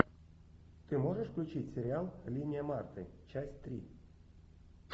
ты можешь включить сериал линия марты часть три